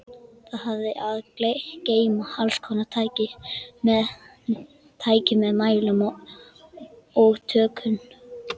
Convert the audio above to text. Það hafði að geyma allskonar tæki með mælum og tökkum.